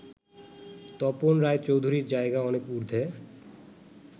তপন রায়চৌধুরীর জায়গা অনেক ঊর্ধ্বে